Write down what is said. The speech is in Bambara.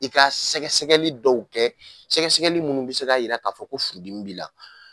I ka sɛgɛsɛgɛli dɔw kɛ sɛgɛsɛgɛli minnu bɛ se k'a jira k'a fɔ ko furudimi b' la.